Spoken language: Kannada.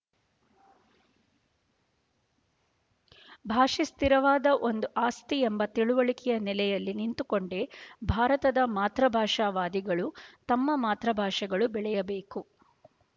ಭಾಷೆ ಸ್ಥಿರವಾದ ಒಂದು ಆಸ್ತಿ ಎಂಬ ತಿಳುವಳಿಕೆಯ ನೆಲೆಯಲ್ಲಿ ನಿಂತುಕೊಂಡೇ ಭಾರತದ ಮಾತ್ರಭಾಷಾವಾದಿಗಳು ತಮ್ಮ ಮಾತ್ರ ಭಾಷೆಗಳು ಬೆಳೆಯಬೇಕು